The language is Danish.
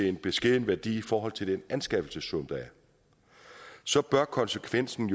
en beskeden værdi i forhold til anskaffelsessummen så bør konsekvensen